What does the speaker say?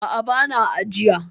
A'a, ba na ajiya.